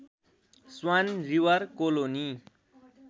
swan River colony